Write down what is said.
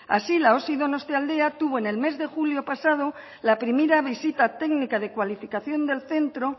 así la osi donostialdea tuvo en el mes de julio pasado la primera visita técnica de cualificación del centro